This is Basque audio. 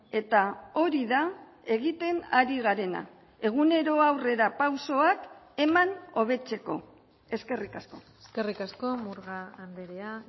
eta hori da egiten ari garena egunero aurrerapausoak eman hobetzeko eskerrik asko eskerrik asko murga andrea